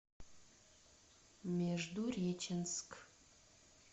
междуреченск